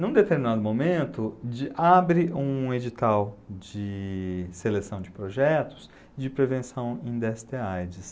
Num determinado momento, de, abre um edital de seleção de projetos de prevenção em dê esse tê á i dê sê.